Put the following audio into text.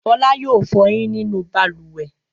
Fọlá yóò fọyín nínú balùwẹ̀.